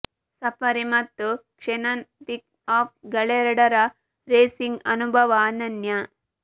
safari ಮತ್ತು Xenon pickup ಗಳೆರಡರ racing ಅನುಭವ ಅನನ್ಯ